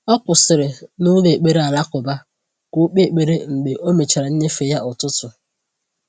O kwụsịrị n’ụlọ ekpere alakụba ka o kpee ekpere mgbe o mechara nnyefe ya ụtụtụ.